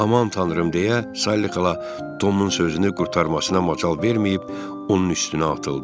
Aman tanrım deyə Sayli xala Tomun sözünü qurtarmasına macal verməyib onun üstünə atıldı.